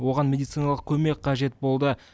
оған медициналық көмек қажет болды